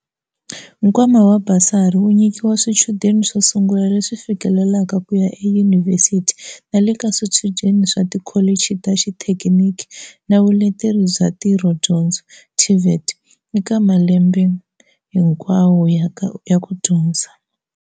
Nkwama wa basari wu nyi kiwa swichudeni swo sungula leswi fikelelaka ku ya eyunivhesiti na le ka swichudeni swa tikholichi ta xithekiniki na vuleteri bya ntirhodyondzo, TVET, eka malembe hikwawo ya ku dyondza.